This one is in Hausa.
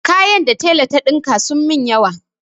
Kaya da tela ta ɗinka sun min yawa.